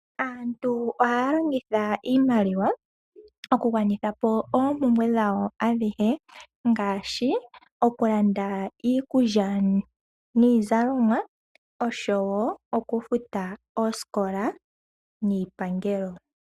Aantu ohaya longitha iimaliwa okugwanitha po oompumbwe dhawo adhihe, ngaashi okulanda iikulya niizalomwa oshowo okufuta oosikola niipangelo.